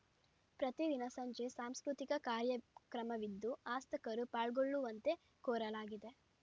ಪ್ರತಿದಿನ ಸಂಜೆ ಸಾಂಸ್ಕೃತಿಕ ಕಾರ್ಯಕ್ರಮವಿದ್ದು ಆಸಕ್ತರು ಪಾಲ್ಗೊಳ್ಳುವಂತೆ ಕೋರಲಾಗಿದೆ